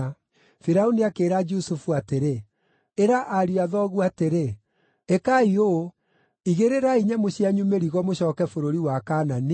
Firaũni akĩĩra Jusufu atĩrĩ, “Ĩra ariũ a thoguo atĩrĩ, ‘Ĩkai ũũ: Igĩrĩrai nyamũ cianyu mĩrigo mũcooke bũrũri wa Kaanani,